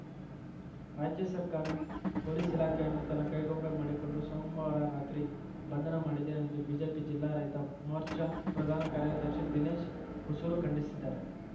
ರಾಜ್ಯ ಸರ್ಕಾರ ಪೊಲೀಸ್‌ ಇಲಾಖೆಯನ್ನು ತನ್ನ ಕೈಗೊಂಬೆ ಮಾಡಿಕೊಂಡು ಸೋಮವಾರ ರಾತ್ರಿ ಬಂಧನ ಮಾಡಿದೆ ಎಂದು ಬಿಜೆಪಿ ಜಿಲ್ಲಾ ರೈತ ಮೋರ್ಚಾ ಪ್ರಧಾನ ಕಾರ್ಯದರ್ಶಿ ದಿನೇಶ್‌ ಹೊಸೂರು ಖಂಡಿಸಿದ್ದಾರೆ